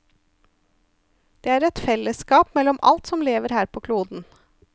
Det er et fellesskap mellom alt som lever her på kloden.